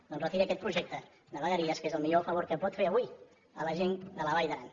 doncs retiri aquest projecte de vegueries que és el millor favor que pot fer avui a la gent de la vall d’aran